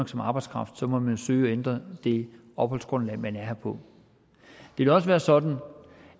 som arbejdskraft så må man søge at ændre det opholdsgrundlag man er her på det vil også være sådan